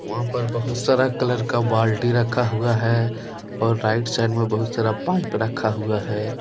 वहाँ पर बहुत सारा कलर का बाल्टी रखा हुआ है और राइट साइड में बहुत सारा पाइप रखा हुआ है।